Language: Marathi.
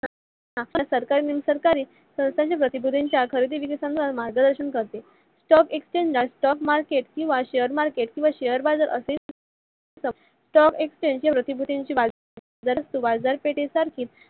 खरेदी विक्री संदर्भात मार्गदर्शन करते. stock exchange ला stock market किवा share market किवा share बाजार असेही म्हणतात. stock exchange गतीविधी हि बाजार पेठे सारखीच